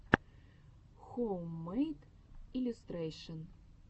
хоуммэйд иллюстрэйшэн